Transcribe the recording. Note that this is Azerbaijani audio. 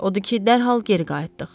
Odu ki, dərhal geri qayıtdıq.